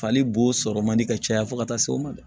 Fali bo sɔrɔ man di ka caya fo ka taa se o ma